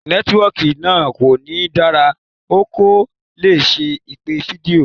Nẹ́tíwọkì náà kò ní dára, o kò lè ṣe ìpè fídíò.